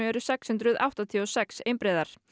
eru sex hundruð áttatíu og sex einbreiðar